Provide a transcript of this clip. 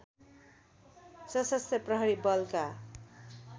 शसस्त्र प्रहरी बलका